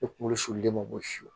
E kunkolo sirili de mago si